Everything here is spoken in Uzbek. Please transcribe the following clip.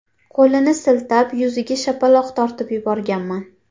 Qo‘lini siltab, yuziga shapaloq tortib yuborganman.